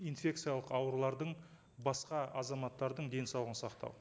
инфекциялық аурулардан басқа азаматтардың денсаулығын сақтау